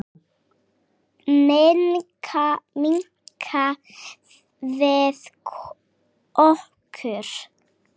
Minnka við okkur.